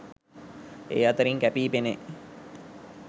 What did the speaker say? ඒ අතරින් කැපී පෙනෙයි.